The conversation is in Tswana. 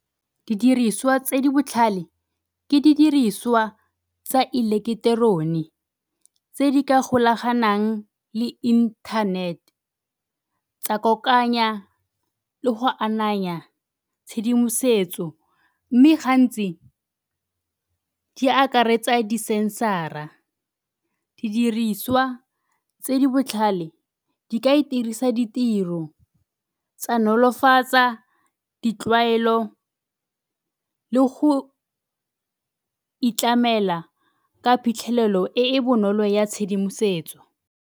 Didiriswa tse di botlhale ke didirisiwa tsa eleketerone tse di ka golaganang le inthanete tsa kokoanya le go ananya tshedimosetso mme gantsi di akaretsa di-sensor-a. Didiriswa tse di botlhale di ka iitirisa ditiro, tsa nolofatsa ditlwaelo le go itlamela ka phitlhelelo e e bonolo ya tshedimosetso.